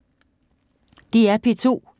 DR P2